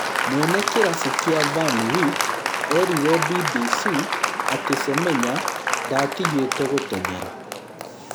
Mwene kĩrabu kĩu Van Wyk erire BBC atĩ Semenya ndatigĩte gũteng’era